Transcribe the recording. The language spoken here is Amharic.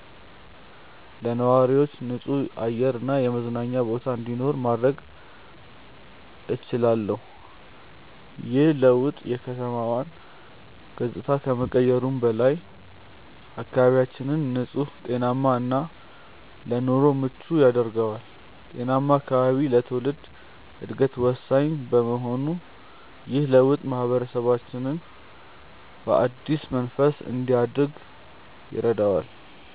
ለነዋሪዎች ንጹህ አየር እና የመዝናኛ ቦታ እንዲኖር ማድረግ እችላለሁ። ይህ ለውጥ የከተማዋን ገጽታ ከመቀየሩም በላይ፣ አካባቢያችንን ንጹህ፣ ጤናማ እና ለኑሮ ምቹ ያደርገዋል። ጤናማ አካባቢ ለትውልድ ዕድገት ወሳኝ በመሆኑ ይህ ለውጥ ማህበረሰባችንን በአዲስ መንፈስ እንዲያድግ ያደርገዋል።